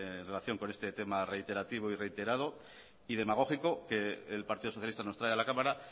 en relación con este tema reiterativo reiterado y demagógico que el partido socialista nos trae a la cámara